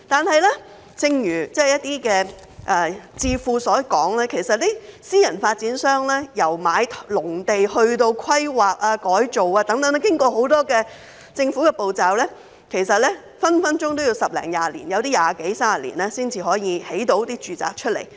不過，正如一些智庫所說，私人發展商由購買農地至規劃、改造，要經過很多政府程序，隨時要花十多二十年，有部分更要二十多三十年才可以建屋出售。